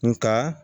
Nga